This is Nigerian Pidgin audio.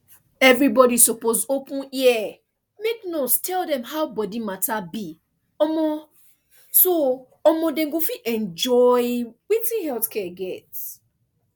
everybody suppose open ear make nurse tell dem how body matter be um so um dem go fit enjoy wetin health care get